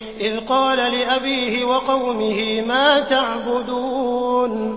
إِذْ قَالَ لِأَبِيهِ وَقَوْمِهِ مَا تَعْبُدُونَ